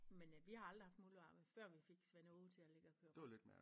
Men øh vi har aldrig haft muldvarpe før vi fik Svend Åge til at ligge og køre rundt